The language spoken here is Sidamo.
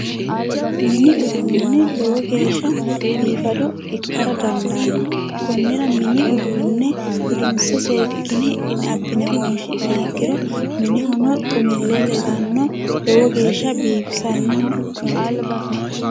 Mini uduuni hattono lowo geeshsha biifado ikkara dandaano konira mini uduuni gudinse hidhine seekkine abbine wonshi'niha ikkiro minehono xumile ledano lowo geeshshano biifisanoho yaate.